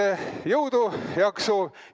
Nii et jõudu-jaksu!